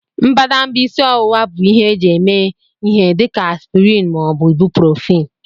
Mbadamba isi ọwụwa bụ ihe eji eme ihe dị ka aspịrịn ma ọ bụ ibuprofin